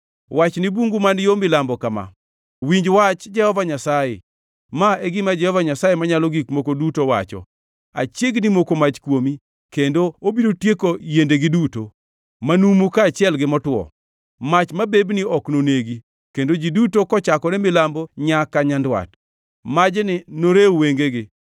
Wach ni bungu man yo milambo kama: Winj wach Jehova Nyasaye. Ma e gima Jehova Nyasaye Manyalo Gik Moko Duto wacho: Achiegni moko mach kuomi, kendo obiro tieko yiendegi duto, manumu kaachiel gi motwo. Mach mabebni ok nonegi, kendo ji duto kochakore milambo nyaka nyandwat, majni norew wengegi.